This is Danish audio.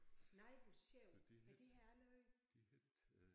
Nej hvor sjovt ej det har jeg aldrig hørt